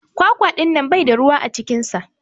kwakwa dinnan Bai da ruwa a cikinsa.